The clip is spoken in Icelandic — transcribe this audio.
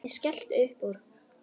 Ég skellti uppúr.